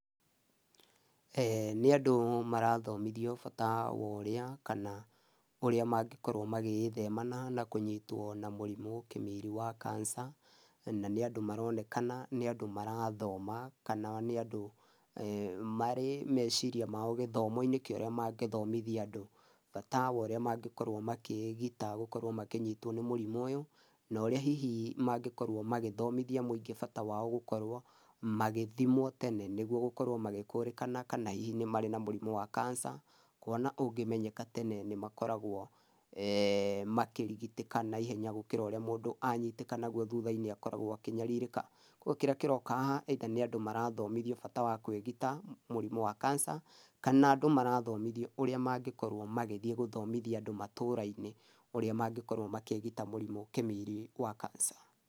Eeh nĩ andũ marathomithio bata worĩa, kana ũrĩa mangĩkorwo magĩgĩthemana na kũnyitwo na mũrimũ kĩmiri wa kanica, na nĩ andũ maronekana nĩ andũ marathoma, kana nĩandũ eeh marĩ meciria mao marĩ gĩthomo-inĩ kĩorĩa mangĩthomithia andũ, bata wa ũria mangĩkorwo makĩgita gũkorwo makĩnyitwo nĩ mũrimũ ũyũ, noria hihi mangĩkorwo magĩthomithia mũingĩ bata wao gũkorwo magĩthimwo tene, nĩguo gũkorwo magĩkũrikana kana hihi nĩ marĩa na mũrimũ wa kanica, kuona ũngĩmenyeka tene nĩ makoragwo eeh makĩrigitĩka naihenya gũkĩra ũrĩa mũndũ ányitĩka naguo thutha-inĩ akorwo akĩnyarirĩka, kiugo kĩrĩa kĩroka haha ĩitha nĩ andũ magĩthomithio bata wa kwĩgita mũrimũ wa kanica, kana andũ marathomithio ũrĩa mangĩkorwo magĩthiĩ gũthomithia andũ matũra-inĩ, ũrĩa mangĩkorwo makĩgita mũrimũ kĩmiri wa kanica.